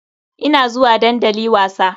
Ina zuwa dandali wasa.